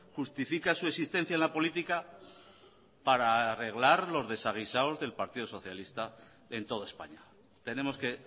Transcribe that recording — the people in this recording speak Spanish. justifica su existencia en la política para arreglar los desaguisados del partido socialista en toda españa tenemos que